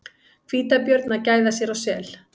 Hvítabjörn að gæða sér á sel.